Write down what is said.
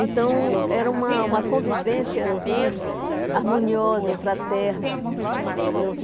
Então, era uma uma convivência, assim, harmoniosa, fraterna.